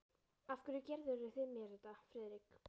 Af hverju gerðuð þið mér þetta, Friðrik?